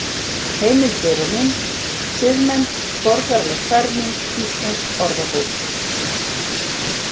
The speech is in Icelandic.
Heimildir og mynd: Siðmennt- borgaraleg ferming Íslensk orðabók.